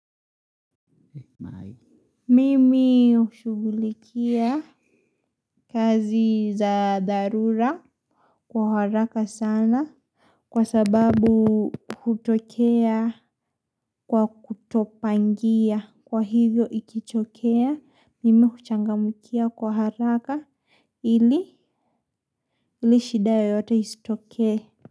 Mimi hushughulikia kazi za dharura kwa haraka sana kwa sababu hutokea kwa kutopangia kwa hivyo ikitokea mimi huchangamkia kwa haraka ili ili shida yoyote isitokee.